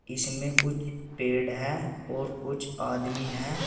इसमें कुछ पेड़ है और कुछ आदमी है।